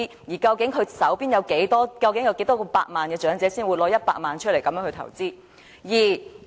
而究竟擁有多少百萬元的長者才會拿出其中100萬元來投資？